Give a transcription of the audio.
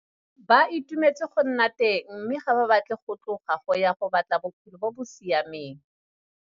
Ba itumetse go nna teng mme ga ba batle go tloga go ya 'go batla bophelo bo bo siameng'.